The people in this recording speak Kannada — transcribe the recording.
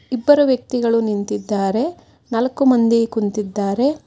ಇಬ್ಬರು ವ್ಯಕ್ತಿಗಳು ನಿಂತಿದ್ದಾರೆ ನಾಲ್ಕು ಮಂದಿ ಕುಂತಿದ್ದಾರೆ.